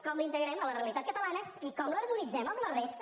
com l’integrem a la realitat catalana i com l’harmonitzem amb la resta